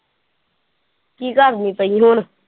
ਕੀ ਕਰਦੀ ਪਈ ਹੁਣ?